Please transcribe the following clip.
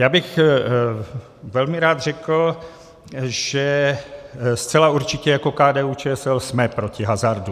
Já bych velmi rád řekl, že zcela určitě jako KDU-ČSL jsme proti hazardu.